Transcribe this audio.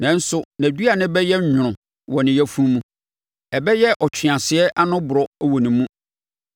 nanso, nʼaduane bɛyɛ nwono wɔ ne yafunu mu; ɛbɛyɛ ɔtweaseɛ ano borɔ wɔ ne mu.